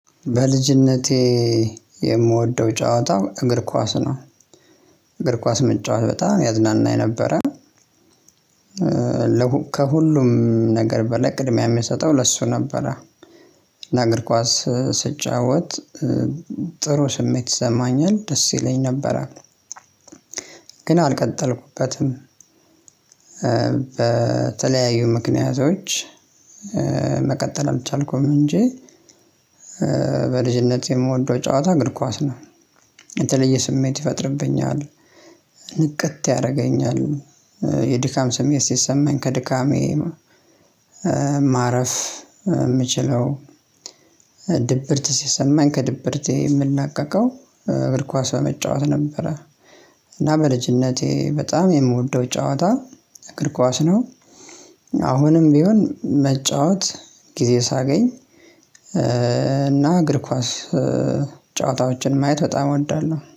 በልጅነቴ የምወደው ጨዋታ እግር ኳስ ነው እግር ኳስ መጫወት በጣም ያዝናናይ ነበረ። ከሁሉም ነገር በላይ ቅድሚያ የሚሰጠው ለሱ ነበረ። ለእግር ኳስ ስጫወት ጥሩ ስሜት ይሰማኛል ደስ ይለኝ ነበር። ግን አልቀጠልኩበትም። በተለያዩ ምክንያቶች መቀጠል አልቻልኩም እንጂ። በልጅነት የምወደው ጨዋታ እግር ኳስ ነው። የተለየ ስሜት ይፈጥርብኛል ንቅት ያደርገኛል። የድካም ስሜት ሲሰማኝ ከድካሜ ማረፍ ምችለው። ድብርት ሲሰማኝ ከድብርቴ የምላቀቀው እግር ኳስ በመጫወት ነበረ። እና በልጅነቴ በጣም የምወደው ጨዋታ እግር ኳስ ነው። አሁንም ቢሆን መጫወት ጊዜ ሳገኝ እና እግር ኳስ ጨዋታዎችን ማየት በጣም እወዳለሁ